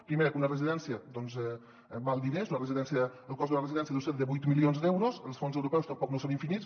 pri·mer que una residència doncs val diners el cost de la residència deu ser de vuit mi·lions d’euros i els fons europeus tampoc no són infinits